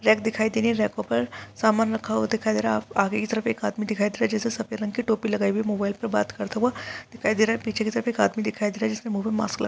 Light दिखाई दे रही है छातो पर सामान रखा हुआ दिखाई दे रहा है अभी इधर में एक आदमी दिखाई दे रहा है सफेद रंग की टोपी लगाई हुई मोबाइल पर बात करता हुआ दिखाई दे रहा है पीछे की तरफ एक आदमी दिखाई दे रहा है जिसके मुंह पर मास्क लगा।